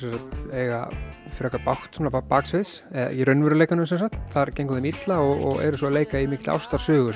eiga frekar bágt baksviðs eða í raunveruleikanum sem sagt þar gengur þeim illa og eru sem sagt að leika í mikilli ástarsögu